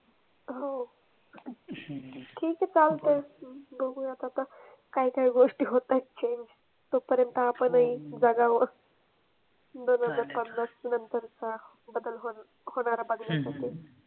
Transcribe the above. हो ठीक ए चालते बघूयात आता काय काय गोष्टी होतायत change तो पर्यंत आपन ही जगाव पन्नास नंतरचा बदल होन होनारा बदला